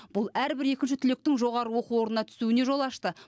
бұл әрбір екінші түлектің жоғары оқу орнына түсуіне жол ашты